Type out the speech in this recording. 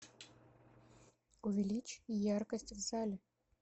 увеличь яркость в зале